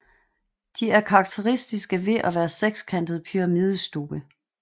De er karakteristisk ved at være sekskantede pyramidestubbe